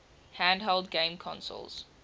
handheld game consoles